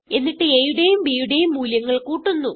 എന്നിട്ട് aയുടേയും bയുടേയും മൂല്യങ്ങൾ കൂട്ടുന്നു